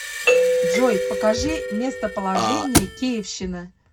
джой покажи местоположение киевщина